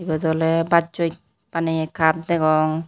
Iyot ole bassoi baneye cup degong.